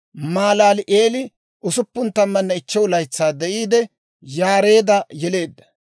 Malaali'eeli 65 laytsaa de'iide, Yaareedda yeleedda;